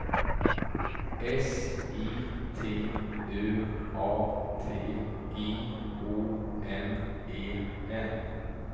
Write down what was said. S I T U A T I O N E N